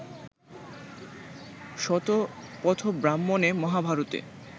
শতপথব্রাহ্মণে, মহাভারতে